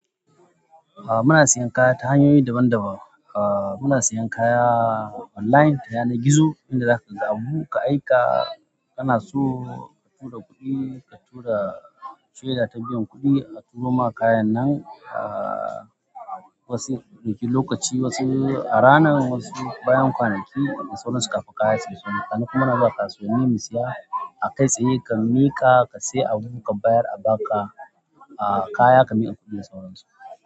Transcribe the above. Aa muna siyan kaya ta hanyoyi daban daban. Aa muna siyan kaya online ta yanar gizo inda zaka ga abu ka aika kana so ka tura kuɗi ka tura shaida ta biyan kuɗi a tura maka kayan nan. Aa wasu ya ɗauki lokaci wasu a rana wasu bayan kwanaki da sauransu kafin kaya ta iso. Haka kuma na za ka kasuwanni mu siya akai tsaye ka miƙa ka siya abu ka bayar a baka a kaya ka miƙa kuɗin da sauransu.